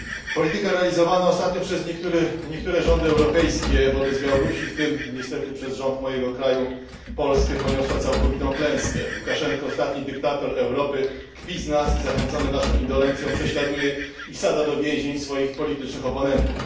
Polityka realizowana ostatnio przez niektóre rządy europejskie wobec Białorusi, w tym niestety przez rząd mojego kraju Polskę poniosła całkowitą klęskę. Łukaszenko, ostatni dyktator Europy, kpi z nas i zachęcony naszą indolencją prześladuje i wsadza do więzień swoich politycznych oponentów.